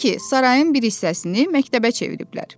Odur ki, sarayın bir hissəsini məktəbə çeviriblər.